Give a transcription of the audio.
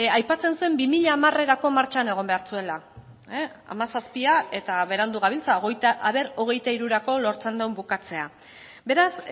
aipatzen zuen bi mila hamarerako martxan egon behar zuela hamazazpia eta berandu gabiltza a ber hogeita hirurako lortzen duen bukatzea beraz